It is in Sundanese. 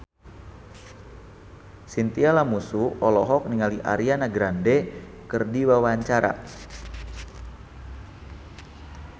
Chintya Lamusu olohok ningali Ariana Grande keur diwawancara